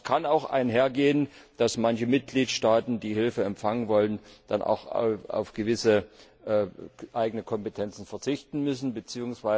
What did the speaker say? Das kann auch damit einhergehen, dass manche Mitgliedstaaten, die Hilfe empfangen wollen, dann auch auf gewisse eigene Kompetenzen verzichten müssen bzw.